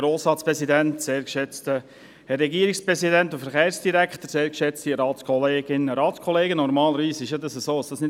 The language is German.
Normalerweise wird über dieses Geschäft nicht lange gesprochen.